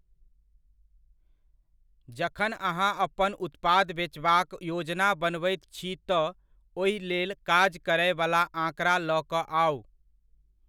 जखन अहाँ अपन उत्पाद बेचबाक योजना बनबैत छी तऽ, ओहि लेल काज करयवला आंकड़ा लऽ कऽ आउ।